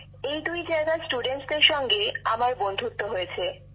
এই দুই জায়গার ছাত্রছাত্রীদের সঙ্গে আমার বন্ধুত্ব হয়েছে